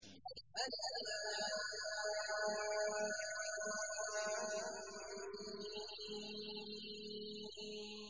الم